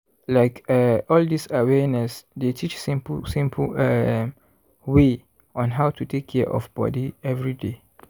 like eh all dis awareness dey teach simple simple um way on how to take care of body everyday.